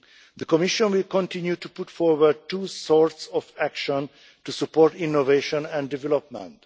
The Commission will continue to put forward two sorts of action to support innovation and development.